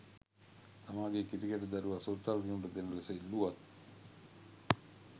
තමාගේ කිරිකැටි දරුවා සුරතල් කිරීමට දෙන ලෙස ඉල්ලුවත්